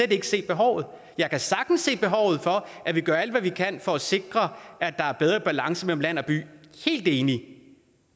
kan se behovet jeg kan sagtens se behovet for at vi gør alt hvad vi kan for at sikre at der er bedre balance mellem land og by helt enig